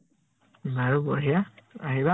আৰু বঢ়িয়া, আহিবা